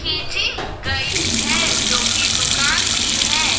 खिंची गई है जो कि दुकान की है।